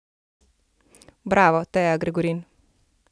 Bravo, Teja Gregorin!